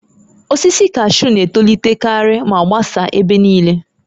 Osisi kashuu na-etolitekarị ma gbasaa ebe niile